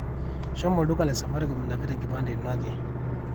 shomo olduka le safaricom inapita enkipande ino ake